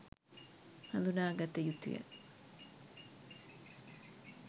හඳුනාගත යුතු ය.